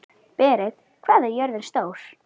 Berit, hvað er jörðin stór?